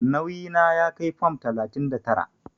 Nauyi na ya kai fam talatin da tara.